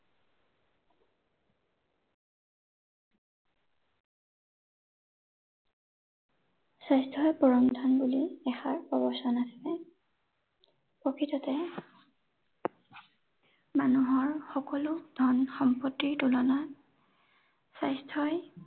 স্বাস্থ্যই পৰম ধন বুলি এষাৰ প্ৰবচন আছে। প্ৰকৃততে মানুহৰ সকলো ধন সম্পত্তিৰ তুলনাত স্বাস্থ্যই